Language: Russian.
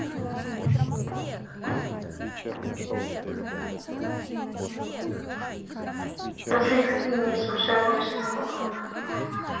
налицо родина шикарно подруга параллельно друг другу